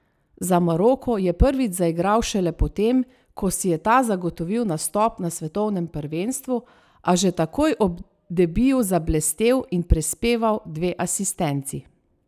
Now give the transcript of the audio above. Za Maroko je prvič zaigral šele po tem, ko si je ta zagotovil nastop na svetovnem prvenstvu, a že takoj ob debiju zablestel in prispeval dve asistenci.